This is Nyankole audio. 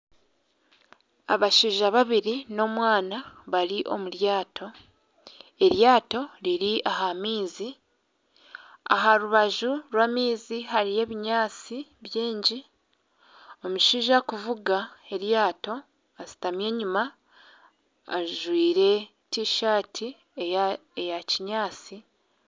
Abashaija babiri nana omwana bari omuryaato riri ahamaizi aharubaju rw' amaizi hariyo ebinyatsi bingi omushaija arikuvuga eryato ashutami enyuma ajwaire t-shirt eya kinyatsi